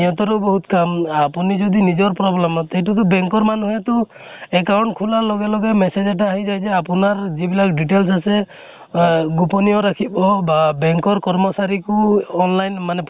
সিহঁতৰো বহুত কাম। আপুনি যদি নিজৰ problem ত এইতো টো bank ৰ মানিহে টো account খোলাৰ লগে লগে message এটা আহি যায় যে আপোনাৰ যিবিলাক details আছে, আহ গোপনিয় ৰাখিব বা bank ৰ কৰ্মচাৰী কো online